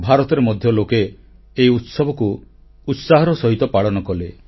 ଭାରତରେ ମଧ୍ୟ ଲୋକେ ଏହି ଉତ୍ସବକୁ ଉତ୍ସାହର ସହିତ ପାଳନ କଲେ